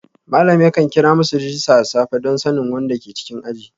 Malam yakan kira masu rajista da safe don sanin wanda ke cikin aji